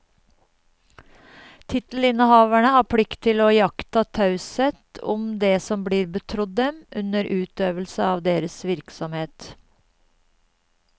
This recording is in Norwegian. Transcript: Tittelinnehavere har plikt til å iaktta taushet om det som blir betrodd dem under utøvelse av deres virksomhet.